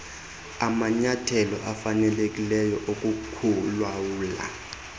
amanyathelo afanelekileyo okukulawula